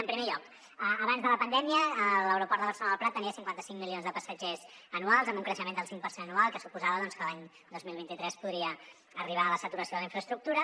en primer lloc abans de la pandèmia l’aeroport de barcelona el prat tenia cinquanta cinc milions de passatgers anuals amb un creixement del cinc per cent anual que suposava que l’any dos mil vint tres podria arribar a la saturació de la infraestructura